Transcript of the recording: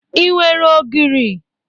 Ị nwere ogiri?